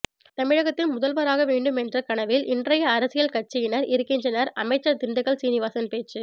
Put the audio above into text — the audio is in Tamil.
தமிழகத்தின் முதல்வர் ஆக வேண்டும் என்றகனவில் இன்றையஅரசியல் கட்சியினர் இருக்கின்றனர் அமைச்சர் திண்டுக்கல் சீனிவாசன் பேச்சு